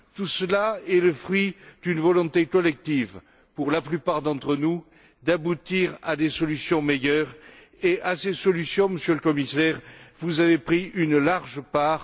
Tout cela est le fruit d'une volonté collective, pour la plupart d'entre nous, d'aboutir à des solutions meilleures auxquelles, Monsieur le Commissaire, vous avez pris une large part.